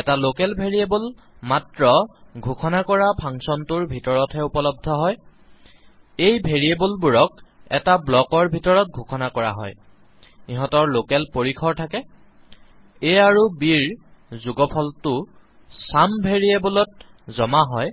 এটা local variable মাত্ৰ ঘোষণা কৰা ফাংচন টোৰ ভিতৰতহে উপলব্ধ হয় এই ভেৰিয়েবলবোৰক এটা ব্লকৰ ভিতৰত ঘোষণা কৰা হয় ইহঁতৰ লকেল পৰিসৰ থাকে A আৰু b ৰ যোগফলটো চাম ভেৰিয়েবলত জমা হয়